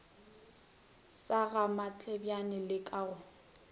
sa gamatlebjane le ka go